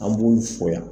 An b'olu foya